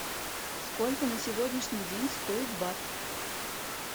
сколько на сегодняшний день стоит бат